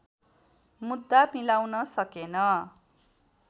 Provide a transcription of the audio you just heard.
मुद्दा मिलाउन सकेन